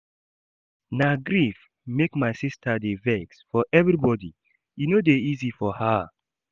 Na grief make my sista dey vex for everybodi, e no dey easy for her.